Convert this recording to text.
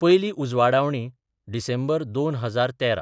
पयली उजवाडावणी: डिसेंबर 2013